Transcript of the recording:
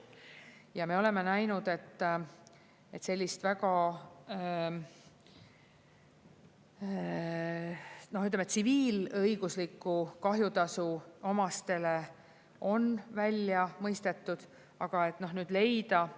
Ja me oleme näinud, et sellist väga, noh, ütleme, tsiviilõiguslikku kahjutasu omastele on välja mõistetud, aga nüüd leida …